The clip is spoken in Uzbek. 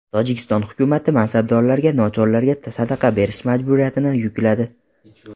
Tojikiston hukumati mansabdorlarga nochorlarga sadaqa berish majburiyatini yukladi.